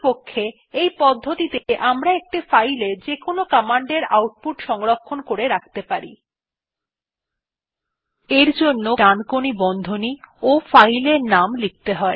প্রকৃতপক্ষে এই পদ্ধতিতে আমরা একটি ফাইলে যেকোন কমান্ডের আউটপুট সংরক্ষণ করে রাখতে পারি